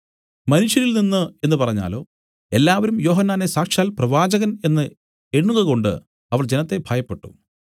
മനുഷ്യരിൽ നിന്നു എന്നു പറഞ്ഞാലോ എല്ലാവരും യോഹന്നാനെ സാക്ഷാൽ പ്രവാചകൻ എന്നു എണ്ണുകകൊണ്ട് അവർ ജനത്തെ ഭയപ്പെട്ടു